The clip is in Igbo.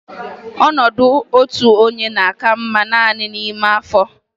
Ọnọdụ otu onye na-aka mma naanị n'ime afọ.